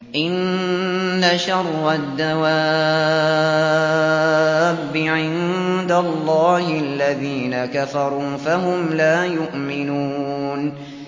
إِنَّ شَرَّ الدَّوَابِّ عِندَ اللَّهِ الَّذِينَ كَفَرُوا فَهُمْ لَا يُؤْمِنُونَ